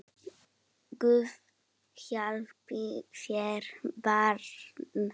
Guð hjálpi þér barn!